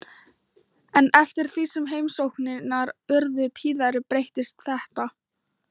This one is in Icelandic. En eftir því sem heimsóknirnar urðu tíðari breyttist þetta.